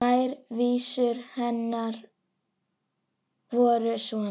Tvær vísur hennar voru svona: